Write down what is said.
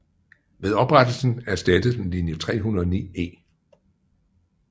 Ved oprettelsen erstattede den linje 309E